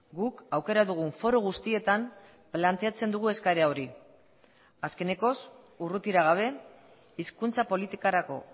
guk aukera dugun foru guztietan planteatzen dugu eskaera hori azkenekoz urrutira gabe hizkuntza politikarako